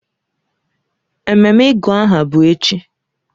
Ememe ịgụ aha bụ echi.